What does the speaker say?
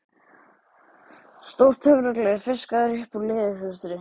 Stórt töfragler fiskað upp úr leðurhulstri